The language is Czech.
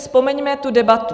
Vzpomeňme tu debatu.